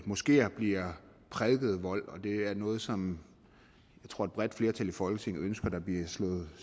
moskeer bliver prædiket vold det er noget som jeg tror et bredt flertal i folketinget ønsker der bliver slået